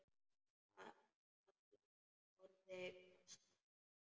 Halla horfði hvasst á mig.